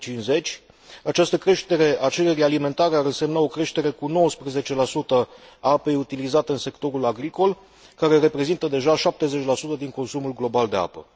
2050. Această creștere a cererii alimentare ar însemna o creștere cu 19 a apei utilizate în sectorul agricol, care reprezintă deja 70 din consumul global de apă.